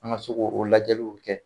An ka se k'o lajaliw kɛ.